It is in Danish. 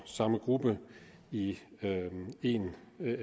samme gruppe i en